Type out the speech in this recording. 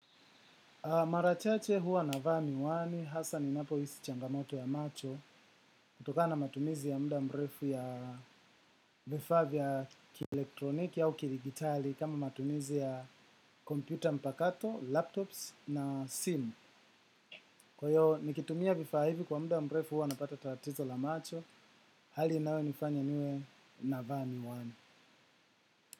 Mara chache huwa navaa miwani, hasa ninapohisi changamoto ya macho. Kutokana na matumizi ya muda mrefu ya vifaa vya kielektroniki au kidijitali, kama matumizi ya kompyuta mpakato, laptops, na simu. Kwa hiyo nikitumia vifaa hivi kwa muda mrefu huwa napata tatizo la macho. Hali inayonifanya niwe navaa miwani.